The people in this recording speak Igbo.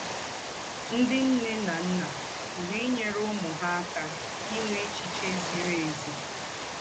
Ńdị́ ńne ná ńnà pùrù ínyèrè úmù hà ákà ínwè échichè zìrì ézì.